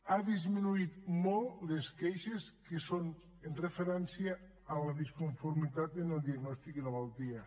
han disminuït molt les queixes que són amb referència a la disconformitat en el diagnòstic i la malaltia